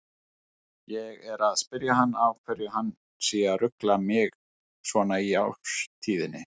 Ég er að spyrja hann af hverju hann sé að rugla mig svona í árstíðinni.